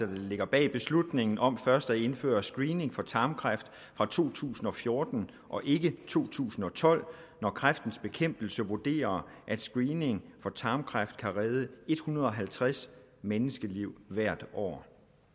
der ligger bag beslutningen om først at indføre screening for tarmkræft fra to tusind og fjorten og ikke to tusind og tolv når kræftens bekæmpelse vurderer at screening for tarmkræft kan redde en hundrede og halvtreds menneskeliv hvert år